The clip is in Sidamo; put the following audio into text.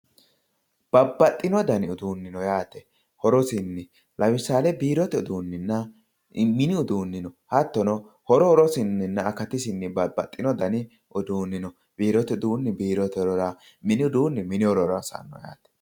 Babbaxxino dani uduuni no yaate, horosinni lemisale biirote uduuninna mini uduuni no hattono horo horosininna akatisinni babbaxxino dani uduuni no, biirote uduuni biirote horora mini uduuni mini horora hosano yaate.